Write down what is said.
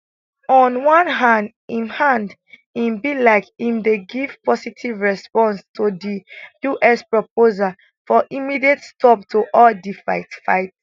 on one hand im hand im be like im dey give positive response to di us proposal for immediate stop to all di fight fight